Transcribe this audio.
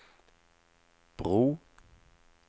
bro